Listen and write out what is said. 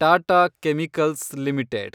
Tata chemicals limited